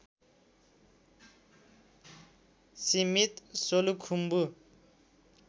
सीमित सोलुखुम्बु